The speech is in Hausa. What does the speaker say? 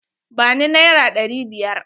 Ba ni naira ɗari biyar!